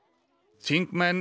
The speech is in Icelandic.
þingmenn